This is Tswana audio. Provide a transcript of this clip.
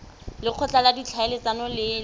lekgotla la ditlhaeletsano le le